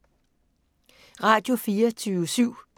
Radio24syv